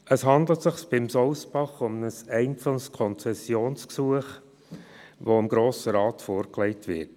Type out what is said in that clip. Es handelt sich beim Sousbach um ein einzelnes Konzessionsgesuch, das dem Grossen Rat vorgelegt wird.